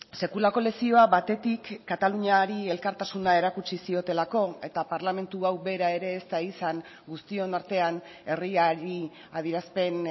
sekulako lezioa batetik kataluniari elkartasuna erakutsi ziotelako eta parlamentu hau bera ere ez da izan guztion artean herriari adierazpen